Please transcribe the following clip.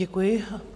Děkuji.